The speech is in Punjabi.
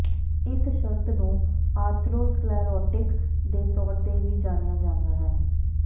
ਇਸ ਸ਼ਰਤ ਨੂੰ ਆਰਥਰੋਸਕਲੇਰੋਟਿਕ ਦੇ ਤੌਰ ਤੇ ਵੀ ਜਾਣਿਆ ਜਾਂਦਾ ਹੈ